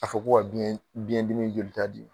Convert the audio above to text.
A fɔ ko ka biɲɛdimi jolita di